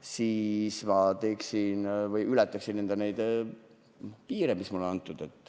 siis ma ületaksin piire, mis mulle on pandud.